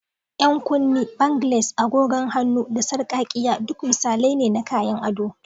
Yan kunne, bangles, agogon hannu, da sarƙaƙƙiya duk misalai ne na kayan ado.